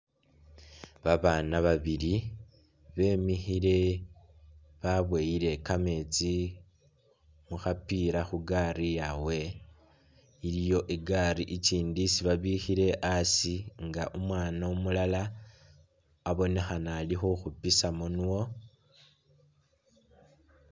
Babaana babili bemikhile baboyile kameetsi mu khapila khu gari yabwe, iliwo i'gari ikindi isi babikhile asi nga u'mwaana umulala abonekhana ali khukhupisamu nwo.